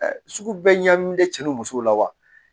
Sugu bɛɛ ɲamin cɛ n'u musow la wa